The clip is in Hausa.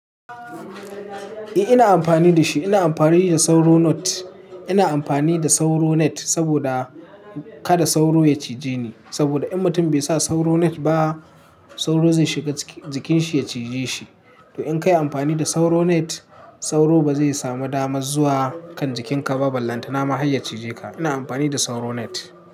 Eh ina amfani da shi, ina amfani da sauro net. Ina amfani da sauro net saboda kada sauro ya cije ni. Saboda in mutum bai sa sauro net ba sauro zai shiga jikin shi ya cije shi. To in kai amfani da sauro net sauro ba zai samu damar zuwa kan jikin ka, ballantana ma har ya cije ka. Ina amfani da sauro net.